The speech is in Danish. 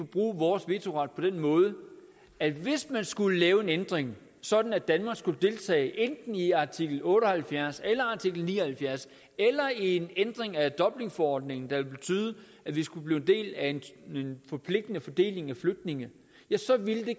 bruge vores vetoret på den måde at hvis man skulle lave en ændring sådan at danmark skulle deltage enten i artikel otte og halvfjerds eller artikel ni og halvfjerds eller i en ændring af dublinforordningen der ville betyde at vi skulle blive en del af en forpligtende fordeling af flygtninge så ville det